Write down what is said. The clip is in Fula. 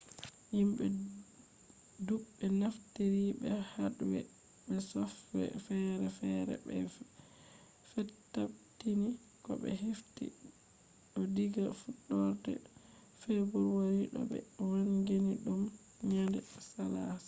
himɓe ɗuɓɓe naftiri be hadwee be softwee feere feere ɓe fetabbitini ko ɓe hefti ɗo diga fuɗɗorde febuari bo ɓe wangini ɗum nyannde salaasa